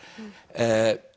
er